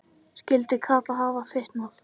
Skyldi Kata hafa fitnað?